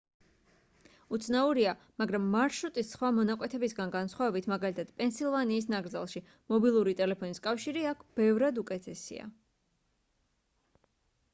უცნაურია მაგრამ მარშრუტის სხვა მონაკვეთებისგან განსხვავებით მაგალითად პენსილვანიის ნაკრძალში მობილური ტელეფონის კავშირი აქ ბევრად უკეთესია